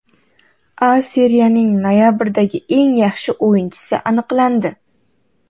A Seriyaning noyabrdagi eng yaxshi o‘yinchisi aniqlandi.